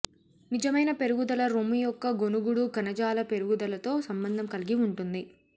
నిజమైన పెరుగుదల రొమ్ము యొక్క గొణుగుడు కణజాల పెరుగుదలతో సంబంధం కలిగి ఉంటుంది